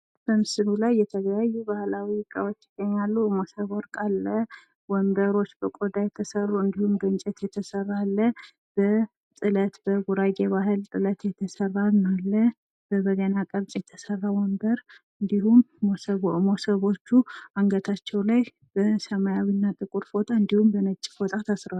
በምስሉ ላይ የተለያዩ ባህላዊ እቃዎች ይገኛሉ። መሶበ ወርቅ አለ፣ ወንበሮች በቆዳ የተሰሩ፣ በእንጨት የተሰራ አለ፣ በጥለት በጉራጌ ባህል የተሰራም አለ፣ በበገና ቅርጽ የተሰራ ወንበር፣ እንዲሁም መሶቦቹ አንገታቸው ላይ በሰማያዊ እና ጥቁር ፎጣ እንዲሁም በነጭ ፎጣ ታስረዋል።